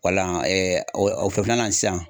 Wala o na sisan